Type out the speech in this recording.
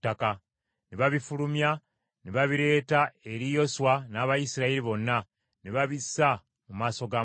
Ne babifulumya ne babireeta eri Yoswa n’Abayisirayiri bonna, ne babissa mu maaso ga Mukama .